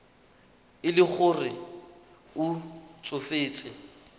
e le gore o tsofetse